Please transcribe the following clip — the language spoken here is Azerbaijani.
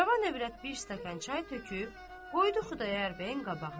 Cavan övrət bir stəkan çay töküb qoydu Xudayar bəyin qabağına.